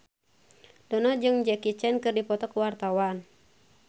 Dono jeung Jackie Chan keur dipoto ku wartawan